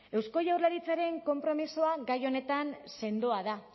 eusko jaurlaritzaren konpromisoa gai honetan sendoa da